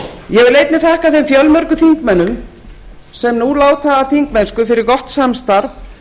ég vil einnig þakka þeim fjölmörgu þingmönnum sem nú láta af þingmennsku fyrir gott samstarf